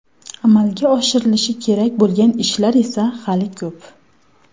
Amalga oshirlishi kerak bo‘lgan ishlar esa hali ko‘p.